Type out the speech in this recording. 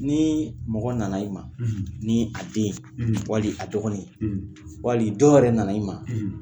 Ni mɔgɔ na na i ma ni a den wali a dɔgɔnin wali dɔ yɛrɛ na na i ma.